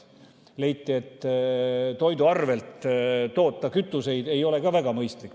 Leiti, et toidu arvelt kütust toota ei ole ka väga mõistlik.